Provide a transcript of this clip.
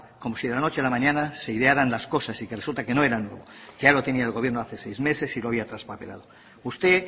como si de la noche a la mañana se idearan las cosas y que resulta que no era nuevo que ya lo tenía el gobierno de hace seis meses y lo había traspapelado usted